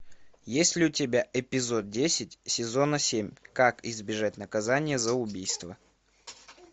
есть ли у тебя эпизод десять сезона семь как избежать наказания за убийство